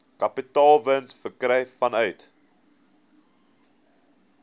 kapitaalwins verkry vanuit